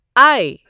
I